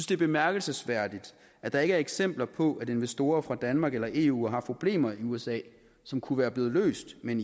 det er bemærkelsesværdigt at der ikke er eksempler på at investorer fra danmark eller eu har problemer i usa som kunne være blevet løst med en